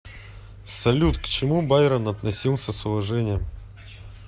салют к чему байрон относился с уважением